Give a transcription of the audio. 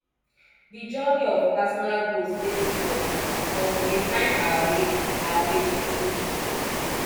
di journey of personal growth dey difficult but we dey find our way our way slowly